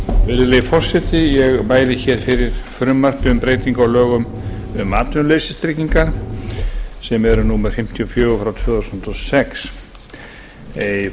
virðulegi forseti ég mæli hér fyrir frumvarpi um breytingu um atvinnuleysistryggingar sem eru númer fimmtíu og fjögur tvö þúsund og sex í